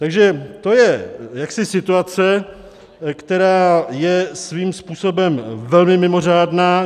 Takže to je jaksi situace, která je svým způsobem velmi mimořádná.